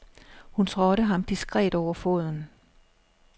Hun trådte ham diskret over foden.